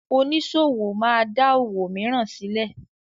Oníṣòwò máa da òwò mìíràn sílẹ̀.